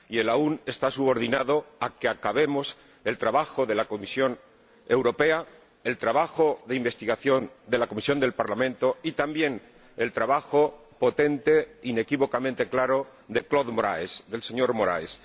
Y el aún está subordinado a que acabemos el trabajo de la Comisión Europea, el trabajo de investigación de la comisión del Parlamento y también el trabajo potente, inequívocamente claro, del señor Moraes.